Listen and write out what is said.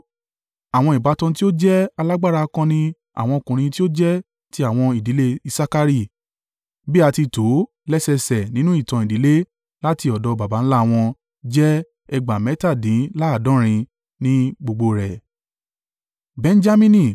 Àwọn ìbátan tí ó jẹ́ alágbára akọni àwọn ọkùnrin tí ó jẹ́ ti àwọn ìdílé Isakari, bí a ti tò ó lẹ́sẹẹsẹ nínú ìtàn ìdílé láti ọ̀dọ̀ baba ńlá wọn jẹ́ ẹgbàá mẹ́tàdínláàádọ́rin (87,000) ni gbogbo rẹ̀.